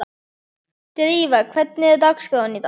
Drífa, hvernig er dagskráin í dag?